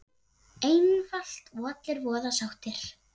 Einfalt og allir voða sáttir!